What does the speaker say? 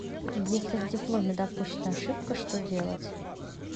если в дипломе допущена ошибка что делать